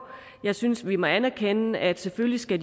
jeg synes vi må anerkende at de selvfølgelig skal